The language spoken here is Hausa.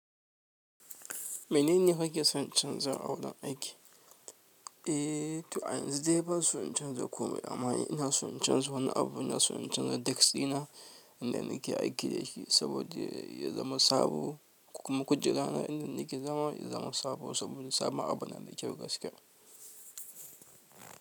Menene kake son canza a wurin aiki? Eh, to a yanzu dai banso in canza komai ba, amma ina son in canza wani abu ina son in canza desk ɗina inda nake aiki da shi saboda ya zama sabo kuma kujera na inda nake zama ya zama sabo saboda sabon abu na da kyau gaskiya.